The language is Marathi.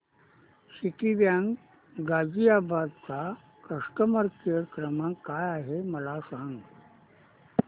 सिटीबँक गाझियाबाद चा कस्टमर केयर क्रमांक काय आहे मला सांग